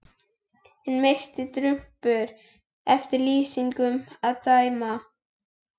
Hinn mesti drumbur eftir lýsingum að dæma.